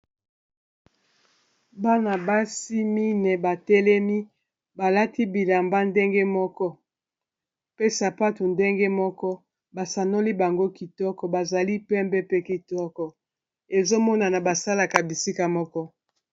Bana basi mine batelemi balati bilamba ndenge moko, pe sapato ndenge moko basanoli bango kitoko, bazali pembe pe kitoko ezomonana basalaka bisika moko.